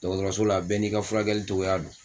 Dɔgɔtɔrɔso la bɛɛ n'i ka furakɛgɛli cogoya don